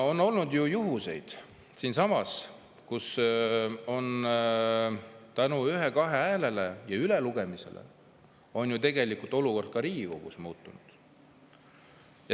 On ju olnud juhtumeid, kus on tänu ülelugemisele ja ühe-kahe on olukord Riigikogus muutunud.